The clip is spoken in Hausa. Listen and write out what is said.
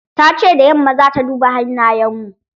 Tace da yamma zata duba hannayen mu.